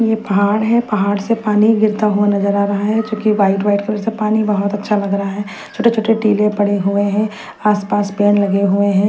ये पहाड़ है पहाड़ से पानी गिरता हुआ नजर आ रहा है जो की व्हाईट व्हाईट कलर सा पानी बहत अच्छा लग रहा है छोटे छोटे टीले पड़े हुए है आसपास पैर लगे हुए हैं।